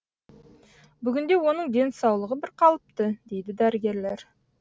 бүгінде оның денсаулығы бірқалыпты дейді дәрігерлер